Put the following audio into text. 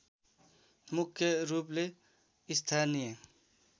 मुख्य रूपले स्थानीय